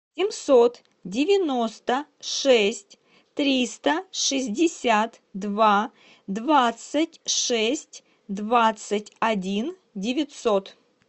семьсот девяносто шесть триста шестьдесят два двадцать шесть двадцать один девятьсот